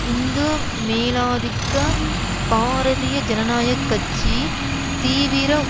இந்து மேலாதிக்க பாரதீய ஜனனாயகட்சியின் தீவிர